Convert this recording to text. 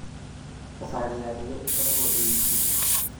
Thabarĩ ya ndege ĩkoragwo ĩ nguhĩ